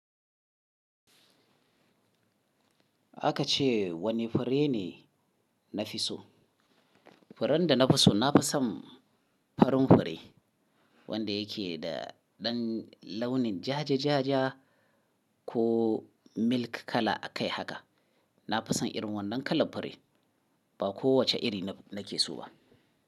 Aka ce wane fure ne na fi so? Furen da na fi so, na fi son farin fure wanda yake da ɗan launin ja-ja-ja ko milk colour akai haka. Na fi son irin wannan kalan fure ba kowacce iri na ke so ba.